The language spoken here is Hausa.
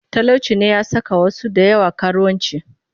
Talauci ne ya saka wasu da yawa karuwanci